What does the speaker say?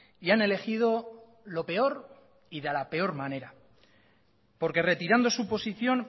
y han elegido lo peor y de la peor manera porque retirando su posición